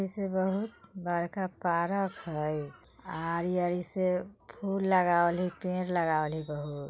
जैसे बहुत बड़का पार्क हइ। आरी-आरी से फूल लगावली पेड़ लगावली बहुत।